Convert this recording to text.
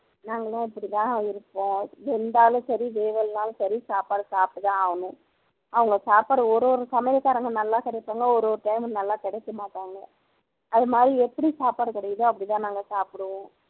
நாங்க எல்லாம் இப்படிதான் இருப்போம் வெந்தாலும் சரி வேகலேனாலும் சரி சாப்பாடு சாப்பிட்டுதான் ஆகணும் அவங்க சாப்பாடு ஓரொரு சமையல்காரங்க நல்லா சமைப்பாங்க ஓரொரு time நல்லா கிடைக்க மாட்டாங்க அதுமாதிரி எப்படி சாப்பாடு கிடைக்குதோ அப்படிதான் நாங்க சாப்பிடுவோம்